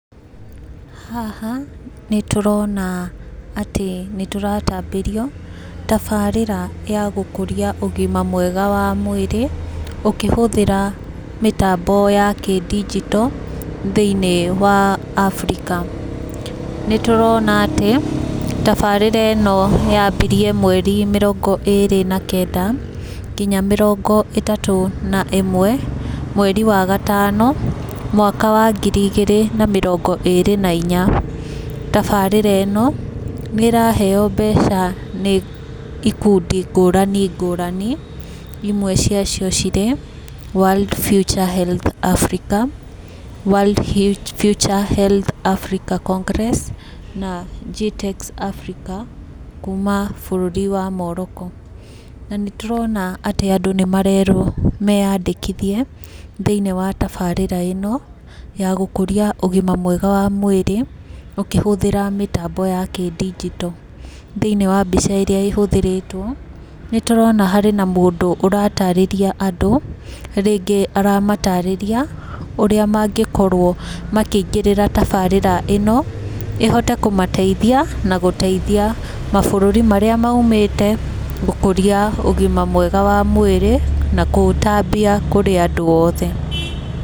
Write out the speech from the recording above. Haha nĩ tũrona atĩ nĩ tũratambĩrio tabarĩra ya gũkũria ũgima mwega wa mwĩrĩ ũkĩhũthĩra mĩtambo ya kĩdijito, thĩniĩ wa Africa. Nĩtũrona atĩ, tabarĩra ĩno yambirie mweri mĩrongo ĩrĩ na kenda, nginya mĩrongo ĩtatũ na ĩmwe, mweri wa gatano, mwaka wa ngiri igĩrĩ na mĩrongo ĩrĩ na inya. Tabarĩra ĩno, nĩraheo mbeca nĩ ikundi ngũrani ngũrani, imwe ciacio cirĩ world future health Africa, world future health Africa congress, na G-tex Africa kuma bũrũri wa Morocco. Na nĩ tũrona atĩ andũ nĩmarerwo meyandĩkithie thĩiniĩ wa tabarĩra ĩno ya gũkũria ũgima mwega wa mwĩrĩ ũkĩhũthĩra mĩtambo ya kĩdijito. Thĩiniĩ wa mbica ĩrĩa ĩhũthĩrĩtwo, nĩtũrona harĩ na mũndũ ũratarĩria andũ. Rĩngĩ aramatarĩria ũrĩa mangĩkorwo makĩingĩrĩra tabarĩra ĩno, ĩhote kũmateithia na gũteithia mabũrũri marĩa maumĩte gũkũria ũgima mwega wa mwĩrĩ na kũũtambia kũrĩ andũ othe.